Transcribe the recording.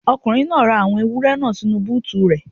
Ọkùnrin náà ra àwọn ewúrẹ́ náà sínu búùtù rẹ̀.